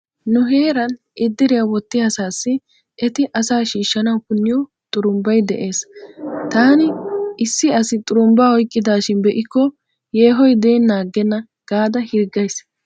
Nu heeran 'iddriyaa' wottiya asaassi eti asa shiishshawu punniyo xurumbbay dees. Taani issi asi xurumbbaa oyqqidaashin be'ikko yeehoy deennaa aggenna gaada hirggays.